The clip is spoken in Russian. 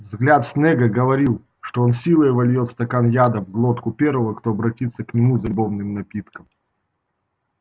взгляд снегга говорил что он силой вольёт стакан яда в глотку первого кто обратится к нему за любовным напитком